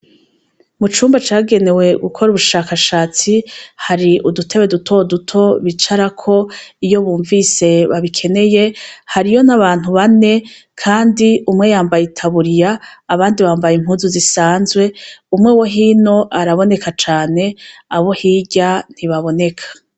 Mu cumba cagenewe gukora ubushakashatsi hari udutebe duto duto bicarako iyo bumvise babikeneye hariyo n' abantu bane, kandi umwe yambaye itaburiya, abandi bambaye impuzu zisanzwe, umwe we hino araboneka cane, abo hirya ntibaboneka.